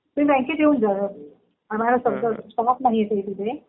तुम्ही बँकेत येऊन जा ना. आम्हाला सध्या स्टाफ नाहीये इथे.